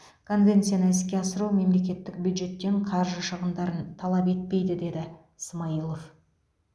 конвенцияны іске асыру мемлекеттік бюджеттен қаржы шығындарын талап етпейді деді смайылов